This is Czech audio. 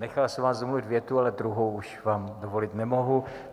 Nechal jsem vás domluvit větu, ale druhou už vám dovolit nemohu.